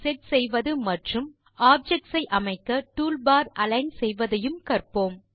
set செய்வது மற்றும் objects ஐ அமைக்க டூல்பார் அலிக்ன் செய்வதையும் கற்போம்